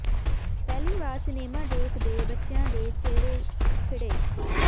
ਪਹਿਲੀ ਵਾਰ ਸਿਨੇਮਾ ਦੇਖ ਦੇ ਬੱਚਿਆਂ ਦੇ ਚਿਹਰੇ ਖਿੜੇ